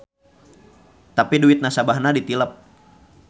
Tapi duit nasabahna ditilep.